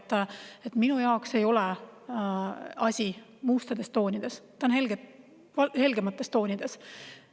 Nii et minu jaoks ei ole asi mustades toonides, on helgemates toonides.